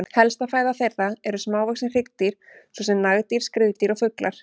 Helsta fæða þeirra eru smávaxin hryggdýr svo sem nagdýr, skriðdýr og fuglar.